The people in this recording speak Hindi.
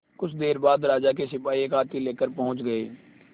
कुछ देर बाद राजा के सिपाही एक हाथी लेकर पहुंच गए